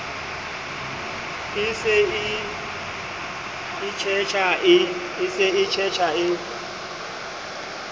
e se e itshetjha e